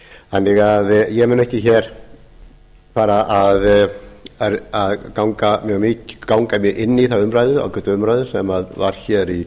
þannig að ég mun ekki mikið fara að ganga inn í þá ágætu umræðu sem var fyrr í